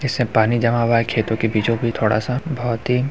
इसमें पानी जमा हुआ है खेतों के बीचो-बीच थोड़ा सा बहुत ही--